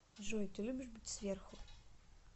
джой ты любишь быть сверху